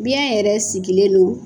Biyɛn yɛrɛ sigilen don